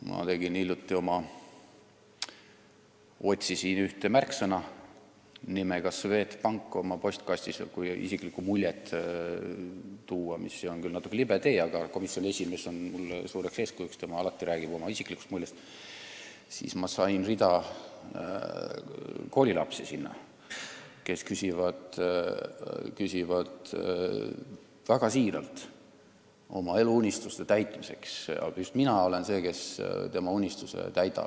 Ma otsisin oma postkastist hiljuti märksõna "Swedbank" – kui tahta oma isikliku mulje näidet tuua, mis on küll natuke libe tee, aga komisjoni esimees on mulle suureks eeskujuks, sest tema räägib alati oma isiklikust muljest – ja leidsin rea koolilapsi, kes väga siiralt küsivad raha oma eluunistuste täitmiseks, et just mina olen see, kes nende unistused täidab.